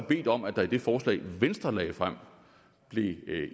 bedt om at der i det forslag venstre lagde frem blev